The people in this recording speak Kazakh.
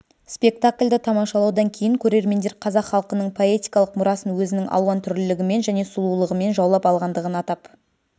спектакльді тамашалаудан кейін көрермендер қазақ халқының поэтикалық мұрасын өзінің алуан түрлілігімен және сұлулығымен жаулап алғандығын атап